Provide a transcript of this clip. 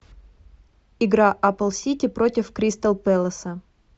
игра апл сити против кристал пэласа